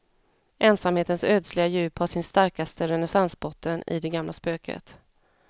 Ensamhetens ödsliga djup har sin starkaste resonansbotten i det gamla spöket.